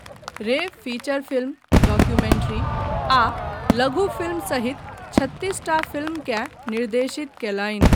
रे feature film, documentary, आ लघु फिल्म सहित छत्तीसटा फ़िल्मकेँ निर्देशित कयलनि।